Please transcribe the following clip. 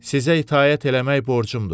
Sizə itaət eləmək borcumdur.